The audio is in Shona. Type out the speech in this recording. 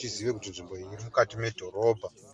taziva kuti nzvimbo iyi irimukati edhorobha.